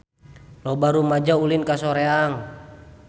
Loba rumaja ulin ka Soreang